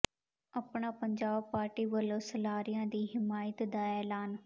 ਆਪਣਾ ਪੰਜਾਬ ਪਾਰਟੀ ਵਲੋਂ ਸਲਾਰੀਆ ਦੀ ਹਮਾਇਤ ਦਾ ਐਲਾਨ